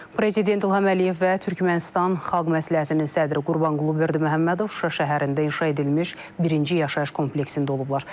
Prezident İlham Əliyev və Türkmənistan Xalq Məsləhətinin sədri Qurbanqulu Berdiməhəmmədov Şuşa şəhərində inşa edilmiş birinci yaşayış kompleksində olublar.